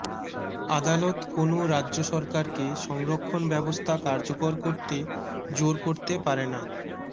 আদালত কোনও রাজ্য সরকারকে সংরক্ষণ ব্যবস্থা কার্যকর করতে জোর করতে পারে না